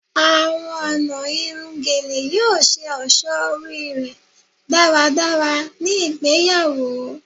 Awọn ọna irun Gele yoo ṣe ọṣọ ori rẹ daradara ni igbeyawo